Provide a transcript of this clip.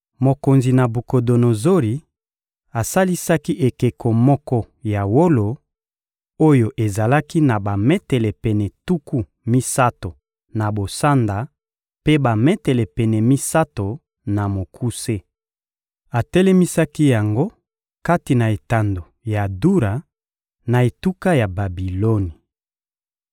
Mokonzi Nabukodonozori asalisaki ekeko moko ya wolo, oyo ezalaki na bametele pene tuku misato na bosanda mpe bametele pene misato na mokuse. Atelemisaki yango kati na etando ya Dura, na etuka ya Babiloni.